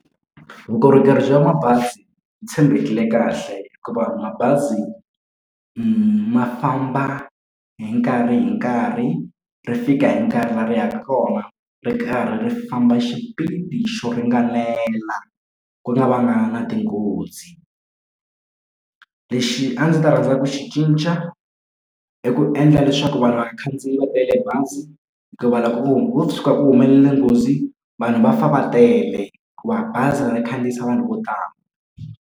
Vukorhokeri bya mabazi byi tshembekile kahle hikuva mabazi ma famba hi nkarhi hi nkarhi ri fika hi nkarhi laha ri yaka kona ri karhi ri famba xipidi xo ringanela ku nga vanga na tinghozi. Lexi a ndzi ta rhandza ku xi cinca i ku endla leswaku va nga vakhandziyi va tele bazi hikuva loko ko tshuka ku humelele nghozi vanhu va fa va tele hikuva bazi ri khandziyisa vanhu vo tala.